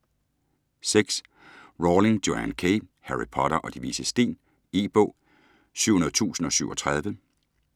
Rowling, Joanne K.: Harry Potter og De Vises Sten E-bog 700037